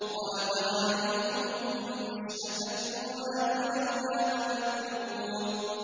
وَلَقَدْ عَلِمْتُمُ النَّشْأَةَ الْأُولَىٰ فَلَوْلَا تَذَكَّرُونَ